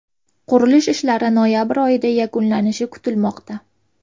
Qurilish ishlari noyabr oyida yakunlanishi kutilmoqda.